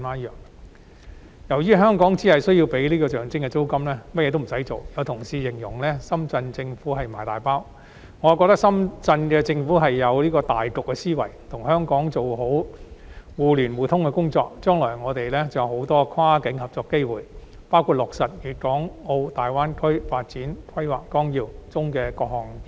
由於香港只須支付象徵式租金，其他甚麼都不用做，有同事形容深圳市政府是"賣大包"，我則認為深圳市政府有大局思維，與香港做好互聯互通的工作，是為了將來我們很多跨境合作的機會，包括落實《粵港澳大灣區發展規劃綱要》中的各項建議。